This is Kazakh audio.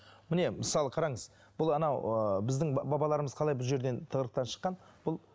міне мысалы қараңыз бұл анау ыыы біздің бабаларымыз қалай бұл жерден тығырықтан шыққан бұл